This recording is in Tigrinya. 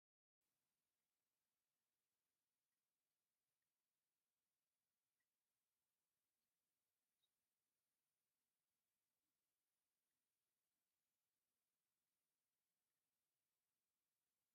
ዓድዋ ኣብ ታሪክ ኢትዮጵያ ኸቢድ ጠርነት ካብ ዝተገበረሎም ቦታታት እቲ ሓደ እንትኸውን ብኣሸናፋይነት ኢትዮጵያውያን ዝተዛዘመ እዩ። ኣነ ናብቲ ጦርነት ዝተገበረሉ ቦታ ምርኣይ የፈትው እዩ።